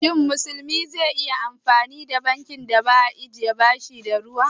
Shin wanda ba musulmi ba zai iya ajiye kudinsa a bankin da baya ta'ammali da riba?